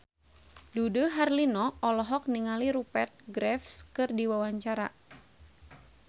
Dude Herlino olohok ningali Rupert Graves keur diwawancara